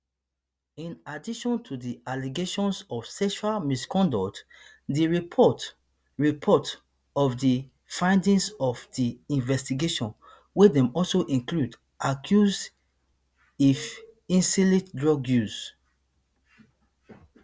in addition to di allegations of sexual misconduct di report report of di findings of di investigation wey dem also include accuse of illicit drug use